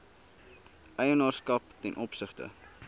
eienaarskap ten opsigte